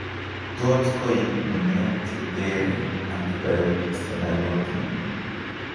Tot koib nuneet cheteree antibiotics chenaiyotin